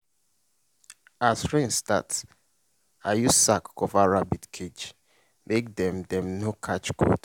as rain start i use sack cover rabbit cage make dem dem no catch cold.